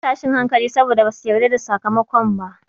An samu tashin hankali saboda basu yarda da sakamakon ba.